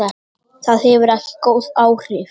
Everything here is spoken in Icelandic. Það hefur ekki góð áhrif.